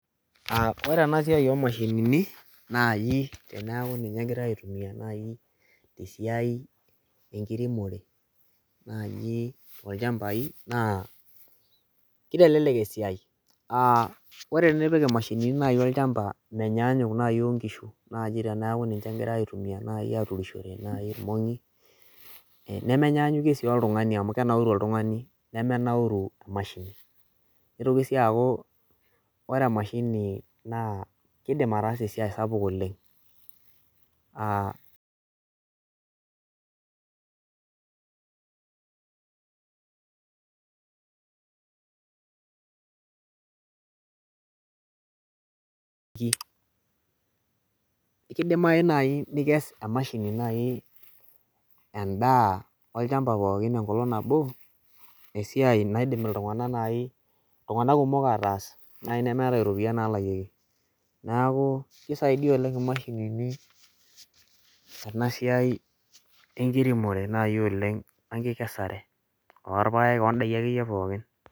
Ore ena siai oomashinini nai teneeku ninye egirai aitumia nai tesiai enkiremore naaji olchambai naa kitelelek esiai Ore enipik imashinini nai olchamba menyanyuk naai ongishu naji tenipik olchamba metaa ninche egirai aitumia aturishore nai ilmongi nemenyanyukie sii oltungani amu kenauru oltungani nemenauru emashini nitoki sii aaku ore emashini naa kiidim ataasa esiai sapuk oleng aa Kidimayu nai nikes temashini nai endaa olchamba pookin enkolong nabo esiai naidim iltung'anak nai iltung'anak kumok ataas nemeetai iropiani naalakieki neeku kisaidia oleng' imashinini ena siai enkiremore naai oleng wenkikesare olpaek oondaiki akeyie pookin